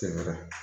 Sɛgɛn na